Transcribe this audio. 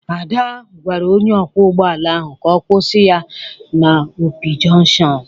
Ada gwara onye ọkwọ ụgbọala ahụ ka ọ kwụsị ya n'Opi jọnshọn.